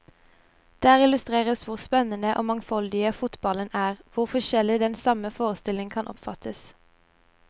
Der illustreres hvor spennende og mangfoldig fotballen er, hvor forskjellig den samme forestillingen kan oppfattes.